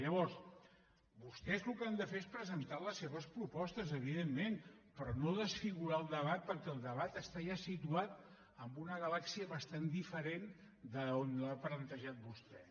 llavors vostès el que han de fer és presentar les seves propostes evidentment però no desfigurar el debat perquè el debat està ja situat en una galàxia bastant diferent d’on l’ha plantejat vostè